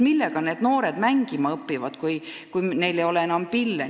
Millega noored mängima õpivad, kui neil ei ole pille?